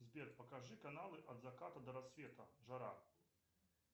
сбер покажи каналы от заката до рассвета жара